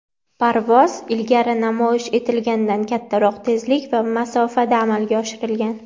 parvoz ilgari namoyish etilgandan kattaroq tezlik va masofada amalga oshirilgan.